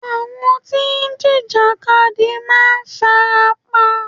Àwọn tí ń jìjàkadì máa fara pa.